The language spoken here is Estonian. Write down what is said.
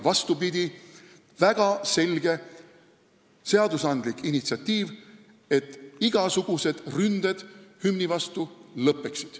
Vastupidi, see on väga selge seadusandlik initsiatiiv, et igasugused ründed hümni vastu lõppeksid.